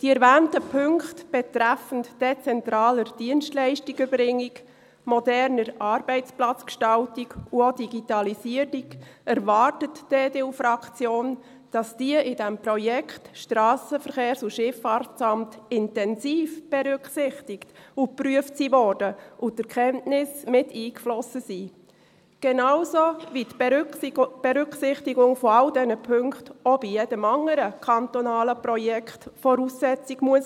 Die EDU-Fraktion erwartet, dass die erwähnten Punkte betreffend dezentrale Dienstleistungserbringung, moderne Arbeitsplatzgestaltung und auch Digitalisierung in diesem Projekt SVSA intensiv berücksichtigt und geprüft wurden und dass die Erkenntnisse mit eingeflossen sind – genauso, wie die Berücksichtigung all dieser Punkte auch bei jedem anderen kantonalen Projekt Voraussetzung sein muss.